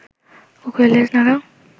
কুকুরের লেজ নাড়া